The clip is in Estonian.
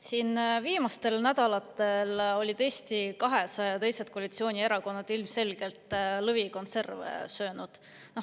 Siin viimastel nädalatel olid Eesti 200 ja teised koalitsioonierakonnad ilmselgelt lõvikonserve söönud.